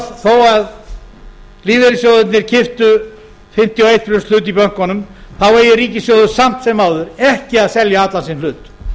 þó að lífeyrissjóðirnir keyptu fimmtíu og eitt prósenta hlut í bönkunum þá eigi ríkissjóður samt sem áður ekki að selja allan sinn hlut